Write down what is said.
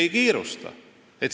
Ei kiirusta.